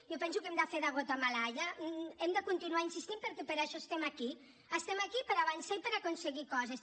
jo penso que hem de fer de gota malaia hem de continuar insistint perquè per això estem aquí estem aquí per avançar i per aconseguir coses